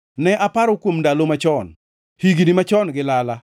Ne aparo kuom ndalo machon, higni machon gi lala;